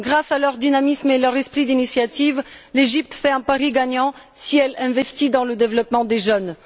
Grâce à leur dynamisme et à leur esprit d'initiative, l'Égypte fait un pari gagnant si elle investit dans le développement des jeunes.